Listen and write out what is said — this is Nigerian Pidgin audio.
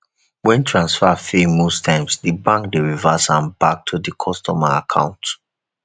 when transfer fail most times di bank dey reverse am back to di customer account